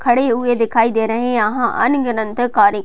खड़े हुए दिखाई दे रहे है यहां अन गिनत कारे --